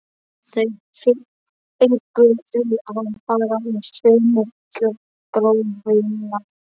Þau fengu því að fara í sömu gröfina.